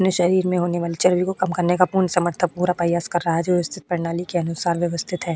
अपने शरीर में होने वाले चर्बी को कम करने का पूर्ण समर्थक पूरा प्रयास कर रहा है जो स्थित प्रणाली के अनुसार व्यवस्थित है।